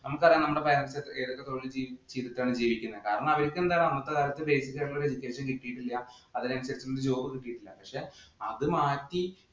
നമുക്ക് അറിയാം നമ്മുടെ parents ഏതൊക്കെ തൊഴില്‍ ചെയ്തിട്ടാണ് ജീവിക്കുന്നത്. കാരണം, അവര്ക്ക് എന്താ education കിട്ടിയിട്ടില്ലാ. അതിനനുസരിച്ചിട്ടുള്ള ഒരു job കിട്ടിയിട്ടില്ല. പക്ഷേ അത് മാറ്റി